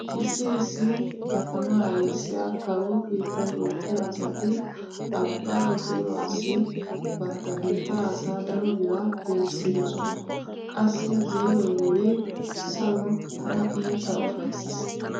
Issi issi katama ayssiya kawo keettan oottiya asati abbaa zeeruwassi bantta biittaa asaa daro biraa peerissidosona. Qassi zeeroy wurin saro tana iita ufayssiis.